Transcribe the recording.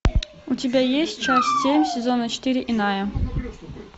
у тебя есть часть семь сезона четыре иная